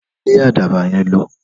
Lé àdàbà yen lõ